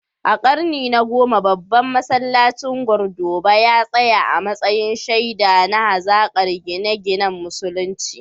A karni na 10, babban masallacin Cordoba ya tsaya a matsayin shaida na hazaƙar gine-ginen Musulunci.